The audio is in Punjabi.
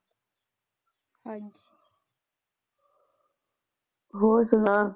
ਹੋਰ ਸੁਣਾ